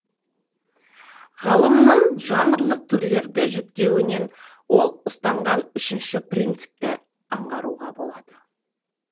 ғалымның жанрлық түрлерді жіктеуінен ол ұстанған үшінші принципті аңғаруға болады